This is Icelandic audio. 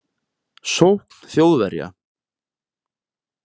Sókn Þjóðverja